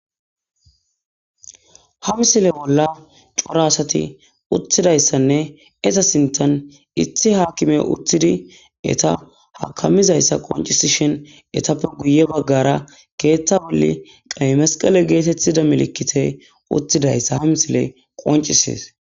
Ha misile bolla cora asati uttidaysanne izeta sinthan issi akimey uttidi eeta hakamizaysa qoncisishin eetape guye bagara keetha bolla qeyi mesqele getetiza misiley uttidaysa hamisiley qoncisidi dees.